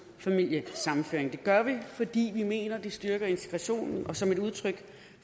familiesammenføring det gør vi fordi vi mener det styrker integrationen og som udtryk